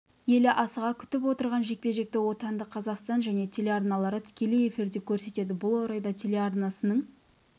елі асыға күтіп отырған жекпе-жекті отандық қазақстан және телеарналары тікелей эфирде көрсетеді бұл орайда телеарнасының